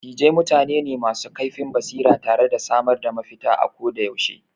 Dattijai mutane ne masu kaifin basira tare da samar da mafita ako da yaushe.